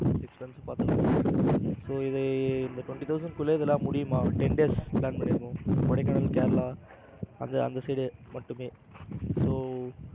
so இந்த twenty thousand குள்ள இதெல்லாம் முடியுமா ten days plan பண்ணியிருக்கோம். கொடைக்கானல் கேரளா அந்த அந்த side மட்டுமே so